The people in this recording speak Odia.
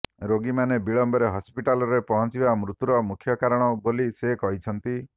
ରୋଗୀମାନେ ବିଳମ୍ବରେ ହସ୍ପିଟାଲ୍ରେ ପହଞ୍ଚିବା ମୃତ୍ୟୁର ମୁଖ୍ୟ କାରଣ ବୋଲି ସେ କହିଛନ୍ତି